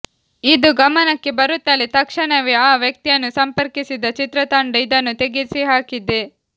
ಇದು ಗಮನಕ್ಕೆ ಬರುತ್ತಲೇ ತಕ್ಷಣವೇ ಆ ವ್ಯಕ್ತಿಯನ್ನು ಸಂಪರ್ಕಿಸಿದ ಚಿತ್ರತಂಡ ಇದನ್ನು ತೆಗೆಸಿ ಹಾಕಿದೆ